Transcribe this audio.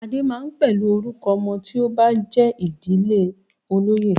"Adé" máa ń pẹ̀lú orúkọ ọmọ tí ó bá jé idije olóyè.